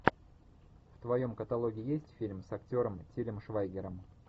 в твоем каталоге есть фильм с актером тилем швайгером